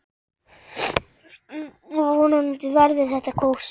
Vonandi verður þetta kósí.